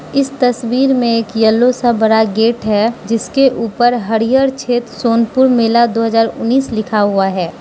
इस तस्वीर में एक येलो सा बड़ा गेट है जिसके ऊपर हरिहर क्षेत्र सोनपुर मेला दो हजार उन्नीस लिखा हुआ है।